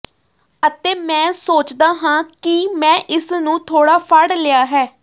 ਅਤੇ ਮੈਂ ਸੋਚਦਾ ਹਾਂ ਕਿ ਮੈਂ ਇਸ ਨੂੰ ਥੋੜਾ ਫੜ ਲਿਆ ਹੈ